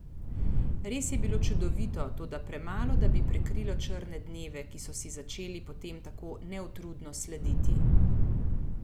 Res je bilo čudovito, toda premalo, da bi prekrilo črne dneve, ki so si začeli potem tako neutrudno slediti.